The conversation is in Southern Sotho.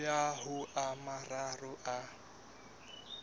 ya ho a mararo a